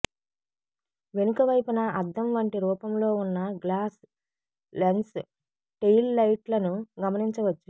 వెనుక వైపున అద్దం వంటి రూపంలో ఉన్న గ్లాస్ లెన్స్ టెయిల్ లైట్లను గమనించవచ్చు